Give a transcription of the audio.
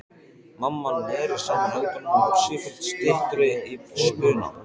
Mamma neri saman höndunum og varð sífellt styttri í spuna.